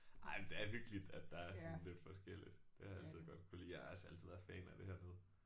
Ej men det er hyggeligt at der er sådan lidt forskelligt det har jeg altid godt kunnet lide. Jeg har også altid været fan af det hernede